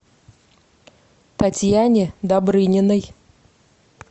татьяне добрыниной